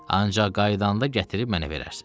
Ancaq qayıdanda gətirib mənə verərsiz.